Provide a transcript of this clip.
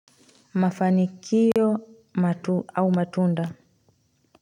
Mafanikio au matunda.